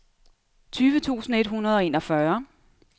tyve tusind et hundrede og enogfyrre